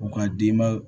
U ka denba